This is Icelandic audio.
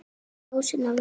Kælið sósuna vel.